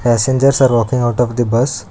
Passengers are walking out of the bus.